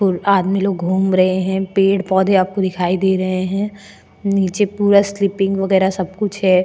आदमी लोग घूम रहे हैं पेड़ पौधे आपको दिखाई दे रहे हैं नीचे पूरा स्किपिंग वगैरह सब कुछ है।